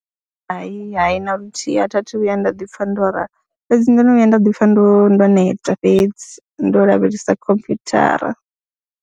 Hai, hai, na luthihi a thi a thu vhuya nda ḓi pfha ndo rali fhedzi ndo no vhuya nda ḓi pfha ndo ndo neta fhedzi ndo lavhelesa khomphyuthara.